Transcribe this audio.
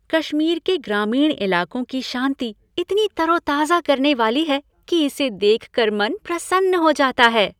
कश्मीर के ग्रामीण इलाकों की शांति इतनी तरोताजा करने वाली है कि इसे देख कर मन प्रसन्न हो जाता है।